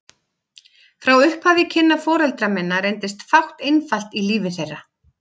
Frá upphafi kynna foreldra minna reyndist fátt einfalt í lífi þeirra.